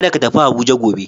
Kada ka tafi Abuja gobe.